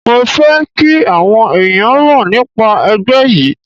Mo fẹ́ kí àwọn ẹ̀yàn mọ̀ nípa ẹgbẹ́ yí.